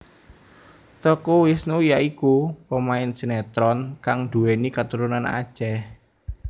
Teuku Wisnu ya iku pemain sinetron kang duwéni katurunan Aceh